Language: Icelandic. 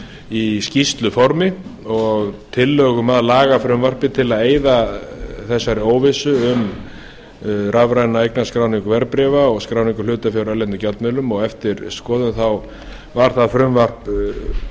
í skýrsluformi og tillögum að lagafrumvarpi til að eyða þessari óvissu um rafræna eignarskráningu verðbréfa og skráningu hlutafjár í erlendum gjaldmiðlum og eftir skoðun þá var það frumvarp flutt